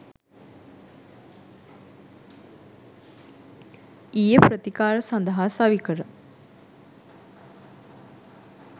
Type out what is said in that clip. ඊයේ ප්‍රතිකාර සඳහා සවිකර